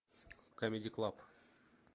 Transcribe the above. камеди клаб